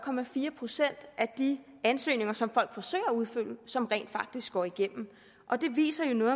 procent af de ansøgninger som folk forsøger at udfylde som rent faktisk går igennem og det viser jo noget